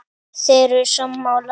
Þeir eru sammála því.